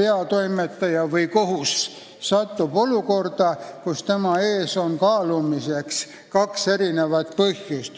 peatoimetaja või kohus satub olukorda, kus tema ees on kaalumiseks kahe poole huvid.